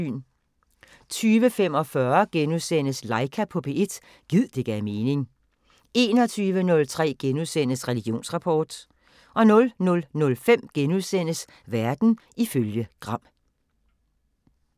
20:45: Laika på P1 – gid det gav mening * 21:03: Religionsrapport * 00:05: Verden ifølge Gram *